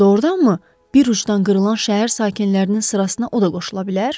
Doğurdanmı bir ucudan qırılan şəhər sakinlərinin sırasına o da qoşula bilər?